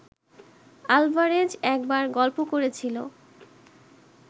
Alvarez একবার গল্প করেছিল